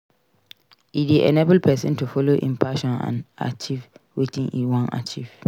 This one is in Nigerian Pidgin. E de enable persin to follow in passion and acheive wetin e won achieve